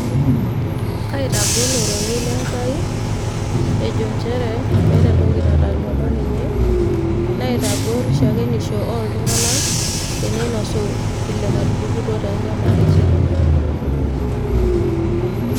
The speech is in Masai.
kaitagol ororei lenkai ejo nchere meeta entoki nataluama ninye naitagol shakenisho ooltung'anak teneinosu vile enatupukutuo toonyamalitin.